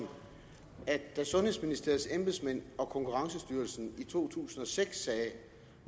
at da sundhedsministeriets embedsmænd og konkurrencestyrelsen i to tusind og seks